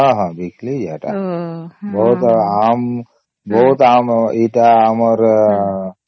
ହଁ ହଁ ବିକିଲି ଯେ ସେଟା ବହୁତ ଆମ ବହୁତ ଆମ ଏଇଟା ଆମର